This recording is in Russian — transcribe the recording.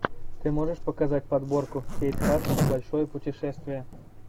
ты можешь показать подборку кейт хадсон большое путешествие